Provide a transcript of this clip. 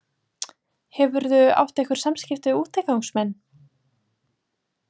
Hefurðu átt einhver samskipti við útigangsmenn?